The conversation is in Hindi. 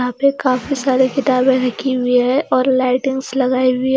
यहां पे काफी सारे किताबें रखी हुई है और लाइटिंगस लगाई हुईं है।